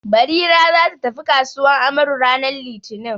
Barira za ta tafi kasuwan Amaru ranar litini.